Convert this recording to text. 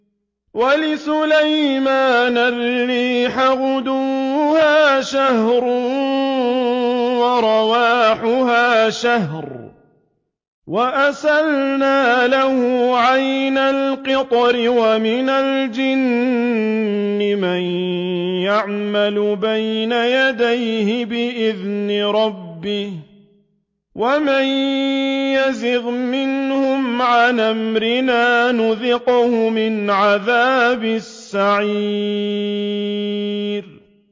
وَلِسُلَيْمَانَ الرِّيحَ غُدُوُّهَا شَهْرٌ وَرَوَاحُهَا شَهْرٌ ۖ وَأَسَلْنَا لَهُ عَيْنَ الْقِطْرِ ۖ وَمِنَ الْجِنِّ مَن يَعْمَلُ بَيْنَ يَدَيْهِ بِإِذْنِ رَبِّهِ ۖ وَمَن يَزِغْ مِنْهُمْ عَنْ أَمْرِنَا نُذِقْهُ مِنْ عَذَابِ السَّعِيرِ